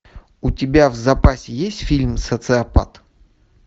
у тебя в запасе есть фильм социопат